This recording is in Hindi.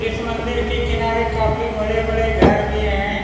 इस मंदिर के किनारे काफी बड़े-बड़े घर भी हैं।